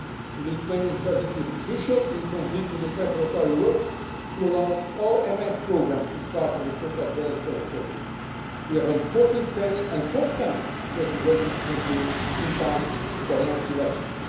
The Lithuanian Presidency will be crucial in completing the preparatory work to allow all MFF programmes to start on 1 January 2014. We have important pending and forthcoming legislation to conclude in time for the next elections.